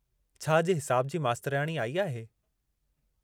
छा अॼु हिसाब जी मास्तराणी आई आहे?